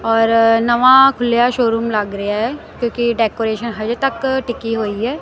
ਔਰ ਨਵਾਂ ਖੁੱਲੇਆ ਸ਼ੋਰੂਮ ਲੱਗ ਰਿਹਾ ਹੈ ਕਿਉਂਕਿ ਡੈਕੋਰੇਸ਼ਨ ਹਜੇ ਤੱਕ ਟਿਕੀ ਹੋਈ ਹੈ।